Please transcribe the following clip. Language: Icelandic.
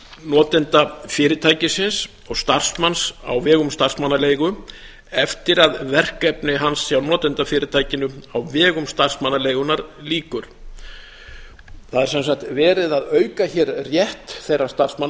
notendafyrirtækisins og starfsmanns á vegum starfsmannaleigu eftir að verkefni hans hjá notendafyrirtækinu á vegum starfsmannaleigunnar lýkur það er sem sagt verið að auka hér rétt þeirra starfsmanna